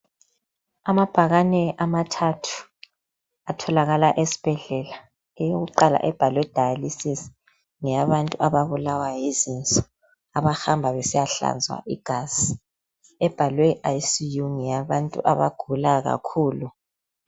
Amabhakane amathathu ,atholakala esibhedlela, eyokuqala ebhalwe dialysis ngeyabantu ababulawa yizinso, abahamba besiyahlanzwa igazi .Ebhalwe ICU ngeyabantu abagula kakhulu.